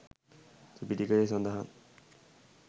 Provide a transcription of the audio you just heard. ත්‍රිපිටකයේ සඳහන්